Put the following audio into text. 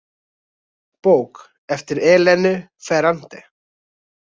Bók eftir Elenu Ferrante.